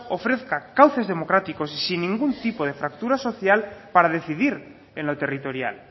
ofrezca cauces democráticos y sin ningún tipo de fractura social para decidir en lo territorial